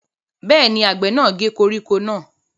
Bẹ́ẹ̀ ni, àgbẹ̀ náà gé koríko náà.